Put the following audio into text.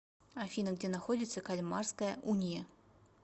афина где находится кальмарская уния